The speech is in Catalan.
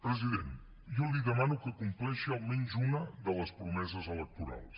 president jo li demano que compleixi almenys una de les promeses electorals